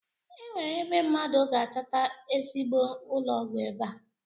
Enwere ebe mmadụ ga-achọta ezigbo ụlọọgwụ ebe a?